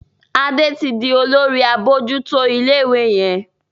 Ade tí dì Olórí abojuto ilé ìwé yén.